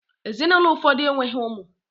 Ezinụlọ ụfọdụ enweghị ụmụ